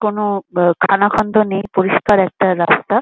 কোনো বা খানাখন্দ নেই পরিষ্কার একটা রাস্তা।